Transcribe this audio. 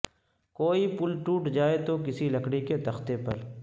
کوئی پل ٹوٹ جائے توکسی لکڑی کے تختے پر